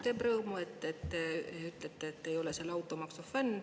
Teeb rõõmu, et te ütlete, et te ei ole automaksu fänn.